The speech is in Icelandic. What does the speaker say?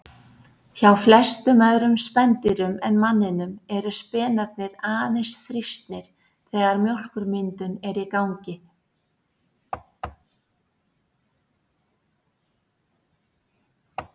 Hjá flestum öðrum spendýrum en manninum eru spenarnir aðeins þrýstnir þegar mjólkurmyndun er í gangi.